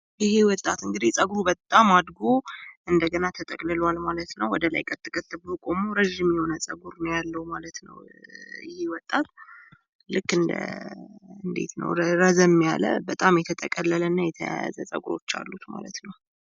ይሄ ወጣት እንግዲህ ፀጉሩ በጣም አድጎ እንደገና ተጠቅልሏል ማለት ነው። ወደላይ ቀጥ ቀጥ ብሎ ቆሞ ረጅም የሆነ ፀጉር ነው ያለው ማለት ነው። ይሄ ወጣት ልክ እንደ እንዴት ነው ረዘም ያለ በጣም የተጠቀለለ እና የተያያዘ ፀጉሮች አሉት ማለት ነው።